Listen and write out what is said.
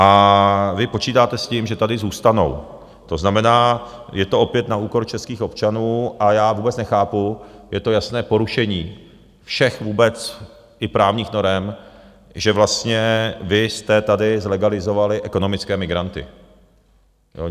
A vy počítáte s tím, že tady zůstanou, to znamená, je to opět na úkor českých občanů a já vůbec nechápu, je to jasné porušení všech vůbec i právních norem, že vlastně vy jste tady zlegalizovali ekonomické migranty.